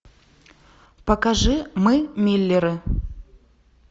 покажи мы миллеры